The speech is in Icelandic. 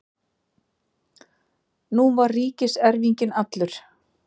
Nú var ríkiserfinginn allur.